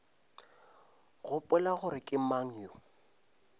gopola gore ke mang yo